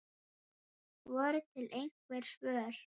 Voru til einhver svör?